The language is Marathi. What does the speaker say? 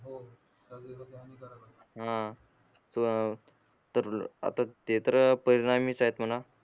तर आता ते तर परिणामीच आहेत म्हणा